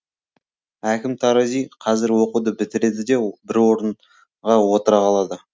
әкім тарази қазір оқуды бітіреді де бір орынға отыра қалады